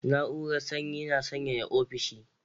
Na'urar Sanyi yana sanyaya offishi